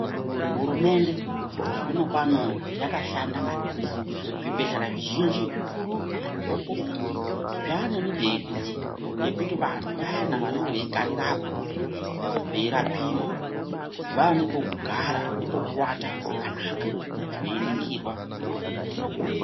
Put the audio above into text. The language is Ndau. Hurumende zvinopano yakashanda maningi zvibhedhlera zvizhinji zvikuru kana zvidoko zvaane mibhedhu yekuti vantu vayana vanenge veigarirapo veirapiwa vaane pekugara ne pekuwata pakanaka veiningirwa ngemadhokoteya.